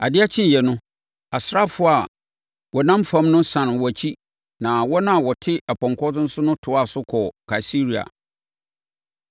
Adeɛ kyeeɛ no, asraafoɔ a wɔnam fam no sane wɔn akyi, na wɔn a wɔte apɔnkɔ so no toaa so kɔɔ Kaesarea.